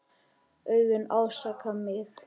Augun ásaka mig.